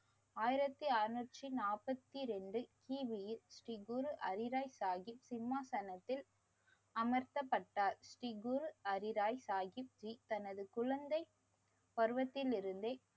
ஆயிரத்தி அறநூற்றி நாப்பத்தி இரண்டு கி. பி யில் ஸ்ரீ குரு ஹரிராய் சாஹீப் சிம்மாசனத்தில் அமர்த்தப்பட்டார். ஸ்ரீ குரு ஹரிராய் சாஹீப் தனது குழந்தை பருவத்தில் இருந்தே